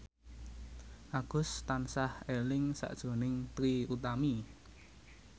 Agus tansah eling sakjroning Trie Utami